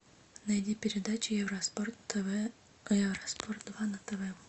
найди передачу евроспорт тв евроспорт два на тв